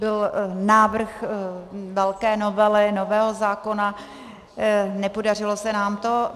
Byl návrh velké novely, nového zákona, nepodařilo se nám to.